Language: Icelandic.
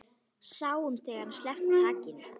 Sáum þegar hann sleppti takinu.